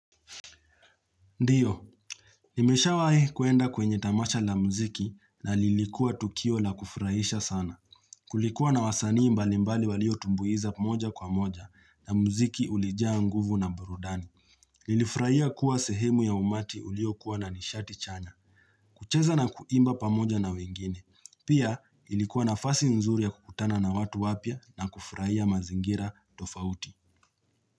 Ndiyo, nimesha wae kuenda kwenye tamasha la mziki na lilikuwa tukio la kufraisha sana. Kulikuwa na wasanii mbali mbali walio tumbuiza pamoja kwa moja na mziki ulijia nguvu na burudani. Nilifraia kuwa sehemu ya umati ulio kuwa na nishati chanya. Kucheza na kuimba pamoja na wengine. Pia ilikuwa na fasi nzuri ya kukutana na watu wapia na kufraia mazingira tofauti.